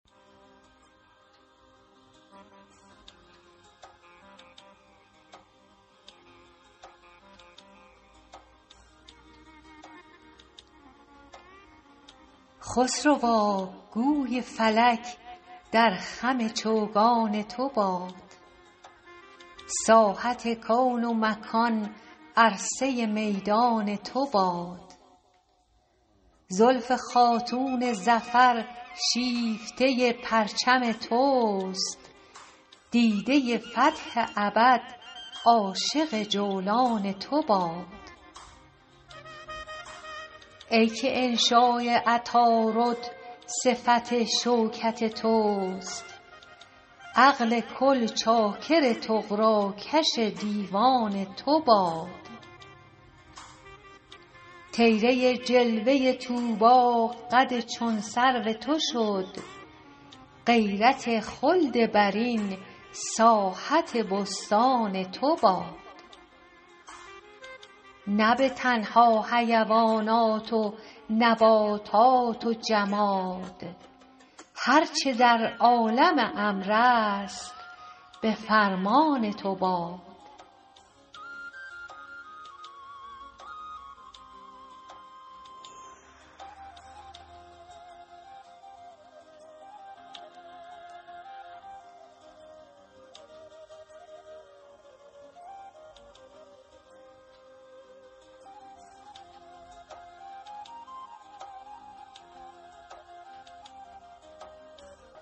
خسروا گوی فلک در خم چوگان تو باد ساحت کون و مکان عرصه میدان تو باد زلف خاتون ظفر شیفته پرچم توست دیده فتح ابد عاشق جولان تو باد ای که انشاء عطارد صفت شوکت توست عقل کل چاکر طغراکش دیوان تو باد طیره جلوه طوبی قد چون سرو تو شد غیرت خلد برین ساحت بستان تو باد نه به تنها حیوانات و نباتات و جماد هر چه در عالم امر است به فرمان تو باد